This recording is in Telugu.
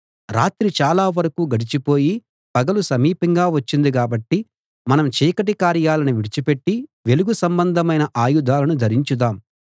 రాత్రి చాలా వరకూ గడిచిపోయి పగలు సమీపంగా వచ్చింది కాబట్టి మనం చీకటి కార్యాలను విడిచిపెట్టి వెలుగు సంబంధమైన ఆయుధాలను ధరించుదాం